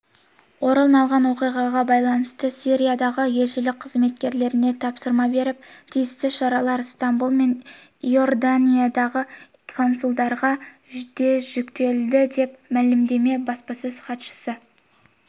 орын алған оқиғаға байланысты сириядағы елшілік қызметкерлеріне тапсырма беріп тиісті шаралар стамбұл мен иорданиядағы консулдарға да жүктелді деп мәлімдеді баспасөз хатшысы